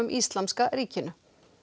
Íslamska ríkinu